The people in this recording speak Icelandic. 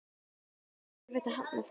Er erfitt að hafna fólki?